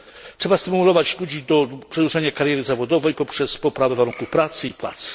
Trzeba stymulować ludzi do przedłużania kariery zawodowej poprzez poprawę warunków pracy i płac.